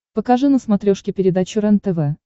покажи на смотрешке передачу рентв